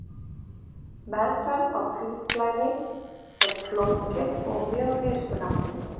Meðferð á hvítblæði er flókin og mjög mismunandi.